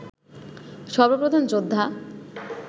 সর্বপ্রধান যোদ্ধা